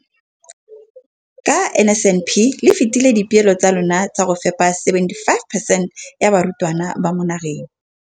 Ka NSNP le fetile dipeelo tsa lona tsa go fepa masome a supa le botlhano a diperesente ya barutwana ba mo nageng.